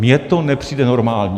Mně to nepřijde normální.